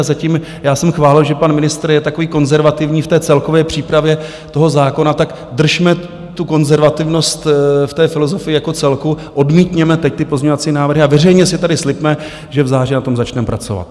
A zatím já jsem chválil, že pan ministr je takový konzervativní v té celkové přípravě toho zákona, tak držme tu konzervativnost v té filozofii jako celku, odmítněme teď ty pozměňovací návrhy a veřejně si tady slibme, že v září na tom začneme pracovat.